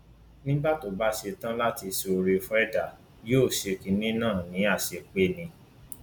nígbà tó bá ṣe tán láti ṣe oore fún ẹdá yóò ṣe kinní náà ní àṣepé ni